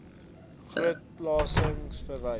groot pelagies verwys